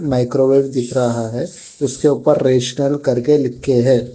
Microwave दिख रहा है इसके ऊपर रेस्टल करके लिख के हैं।